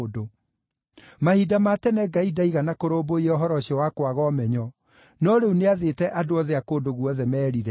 Mahinda ma tene Ngai ndaigana kũrũmbũiya ũhoro ũcio wa kwaga ũmenyo, no rĩu nĩathĩte andũ othe a kũndũ guothe merire.